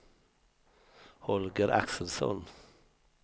Holger Axelsson